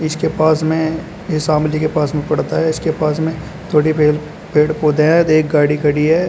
इस के पास में यह शामली के पास में पड़ता है इसके पास में थोड़ी पेड़ पेड़ पौधे है एक गाड़ी खड़ी है।